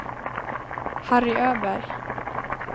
Harry Öberg